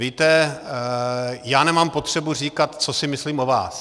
Víte, já nemám potřebu říkat, co si myslím o vás.